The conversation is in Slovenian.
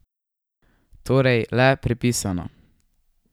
Torej le pripisano!